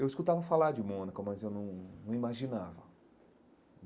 Eu escutava falar de Mônaco, mas eu não não imaginava.